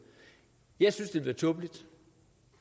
jeg synes det ville være tåbeligt